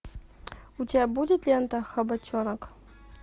у тебя будет лента хабаченок